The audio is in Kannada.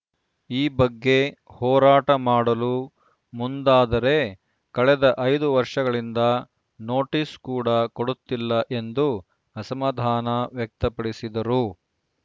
ಈ ಬಗ್ಗೆ ಹೋರಾಟ ಮಾಡಲು ಮುಂದಾದರೆ ಕಳೆದ ಐದು ವರ್ಷಗಳಿಂದ ನೋಟಿಸ್‌ ಕೂಡ ಕೊಡುತ್ತಿಲ್ಲ ಎಂದು ಅಸಮಧಾನ ವ್ಯಕ್ತಪಡಿಸಿದರು